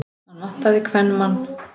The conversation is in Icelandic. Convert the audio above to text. Hann vantaði kvenmann.